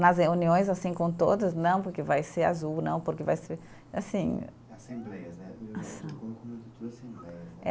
Nas reuniões, assim, com todos, não porque vai ser azul, não porque vai ser, assim. Assembleias, né? Assembleias né